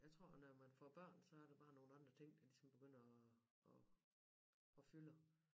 Jeg tror at når man får børn så er der bare nogle andre ting der ligesom begynder og og og fylder